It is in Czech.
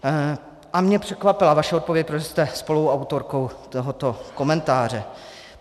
A mě překvapila vaše odpověď, protože jste spoluautorkou tohoto komentáře.